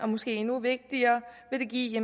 måske er endnu vigtigere give